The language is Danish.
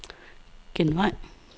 genvej